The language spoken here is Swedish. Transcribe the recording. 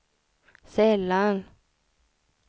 sällan